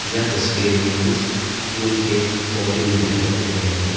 यह तस्वीर में कुछ फूल के पौधे भी दिखाई दे रहे है।